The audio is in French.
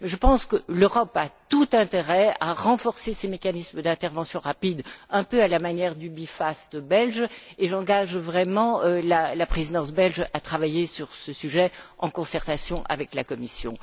Mais je pense que l'Europe a tout intérêt à renforcer ses mécanismes d'intervention rapide un peu à la manière du B Fast belge et j'engage la Présidence belge à travailler sur ce sujet en concertation avec la Commission.